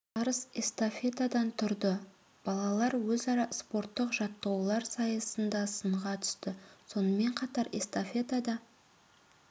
жарыс эстафетадан тұрды балалар өзара спорттық жаттығулар сайысында сынға түсті сонымен қатар эстафетада